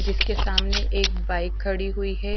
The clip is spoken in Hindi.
जिसके सामने एक बाइक खड़ी हुई है।